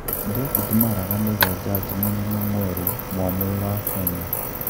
David Maraga niwe jaji mũnene mwerũ mwamũre wa Kenya.